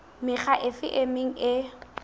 mekga efe e meng e